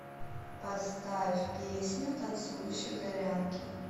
поставь песню танцующей горянке